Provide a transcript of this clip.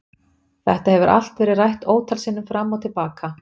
Þetta hefur allt verið rætt ótal sinnum fram og til baka.